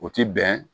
O ti bɛn